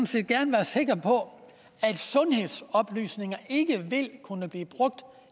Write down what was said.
set gerne være sikker på at sundhedsoplysninger ikke vil kunne blive brugt